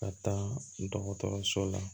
Ka taa dɔgɔtɔrɔso la